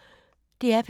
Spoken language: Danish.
DR P2